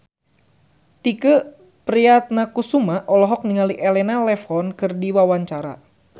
Tike Priatnakusuma olohok ningali Elena Levon keur diwawancara